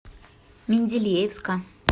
менделеевска